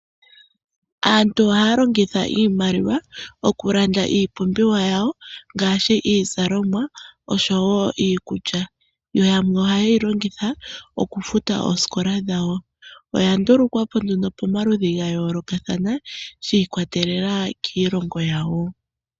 Aantu ohaa longitha iimaliwa oku landa iipumbiwa yawo ngaashi iizalomwa osho wo iikulya. Yo yamwe oha ye yi longitha oku futa oosikola dhawo. Oya ndulukwa po nduno pamaludhi ga yoolokathana, shi ikwatelela kiilongo yawo.